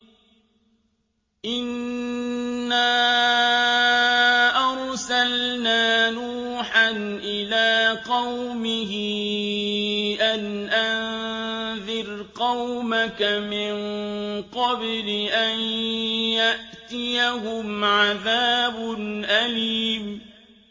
إِنَّا أَرْسَلْنَا نُوحًا إِلَىٰ قَوْمِهِ أَنْ أَنذِرْ قَوْمَكَ مِن قَبْلِ أَن يَأْتِيَهُمْ عَذَابٌ أَلِيمٌ